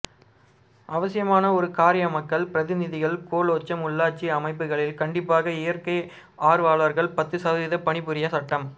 அவசியமான ஒரு காரியம்மக்கள் பிரதிநிதிகள் கோலோச்சும் உள்ளாட்சி அமைப்புகளில் கண்டிப்பாக இயற்கை ஆர்வலர்கள் பத்து சதவிகிதம் பணி புரிய சட்டம்